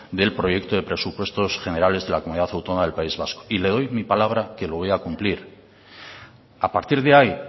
del proyecto de presupuestos generales de la comunidad autónoma del país vasco y le doy mi palabra que lo voy a cumplir a partir de ahí